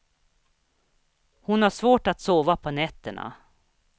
Hon har svårt att sova på nätterna.